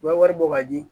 U ka wari bɔ ka di